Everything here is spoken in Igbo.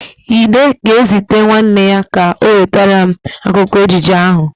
Ide ga-ezite nwanne ya ka ọ wetara m akwụkwụ ejije ahụ.